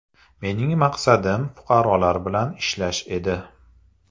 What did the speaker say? Mening maqsadim fuqarolar bilan ishlash edi.